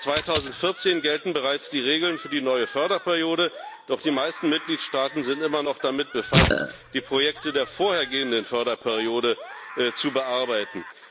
Seit 2014 gelten bereits die Regeln für die neue Förderperiode, doch die meisten Mitgliedstaaten sind immer noch damit befasst, die Projekte der vorhergehenden Förderperiode zu bearbeiten.